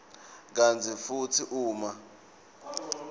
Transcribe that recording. kantsi futsi uma